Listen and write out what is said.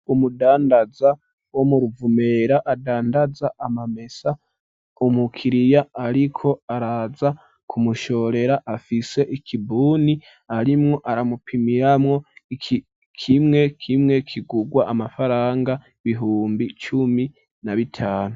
Umudandaza wo mu Ruvumera adandaza amamesa umukiriya ariko araza kumushorera afise ikibuni arimwo aramupimiramwo i kimwe kimwe kigurwa amafaranga bihumbi cumi na bitanu.